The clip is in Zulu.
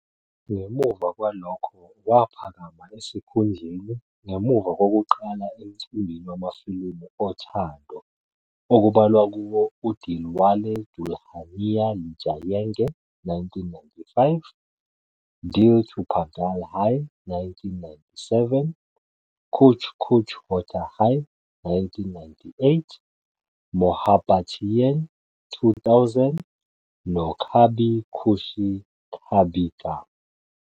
Ngemuva kwalokho waphakama esikhundleni ngemuva kokuqala emcimbini wamafilimu othando, okubalwa kuwo uDilwale Dulhania Le Jayenge, 1995, Dil To Pagal Hai, 1997, Kuch Kuch Hota Hai, 1998, Mohabbatein, 2000, noKabhi Khushi Kabhie Gham.., 2001.